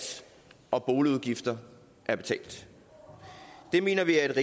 og boligudgifter er betalt det mener vi er